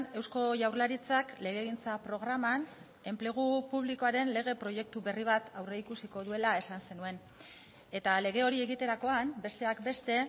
eusko jaurlaritzak legegintza programan enplegu publikoaren lege proiektu berri bat aurreikusiko duela esan zenuen eta lege hori egiterakoan besteak beste